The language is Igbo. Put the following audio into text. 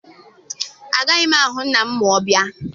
Agaghị m ahụ nna m ma ọ bịa.